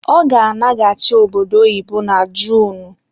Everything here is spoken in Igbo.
Ọ ga-alaghachi obodo oyibo na Junu